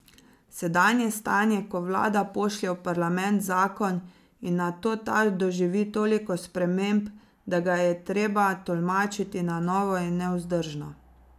Sedanje stanje, ko vlada pošlje v parlament zakon in nato ta doživi toliko sprememb, da ga je treba tolmačiti na novo, je nevzdržno.